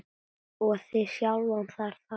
og þig sjálfan þar á.